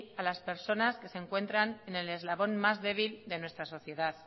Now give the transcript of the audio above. a las personas que se encuentran en el eslabón más débil de nuestra sociedad